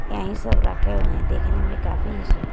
यहीं सब रखे हुए हैं देखने में काफी सु--